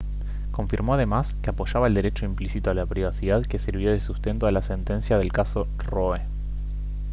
confirmó además que apoyaba al derecho implícito a la privacidad que sirvió de sustento a la sentencia del caso roe